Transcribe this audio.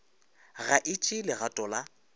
ga e tšee legato la